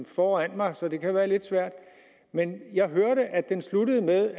foran mig så det kan være lidt svært men jeg hørte at det sluttede med